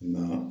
Na